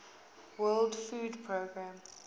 world food programme